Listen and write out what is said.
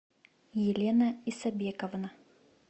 елена исабековна